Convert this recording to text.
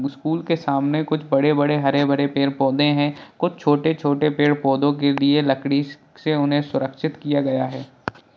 School के सामने कुछ बड़े-बड़े हरे-भरे पेड़-पौधे हैं| कुछ छोटे-छोटे पेड़-पौधों के लिए लकड़ी स से उन्हें सुरक्षित किया गया है।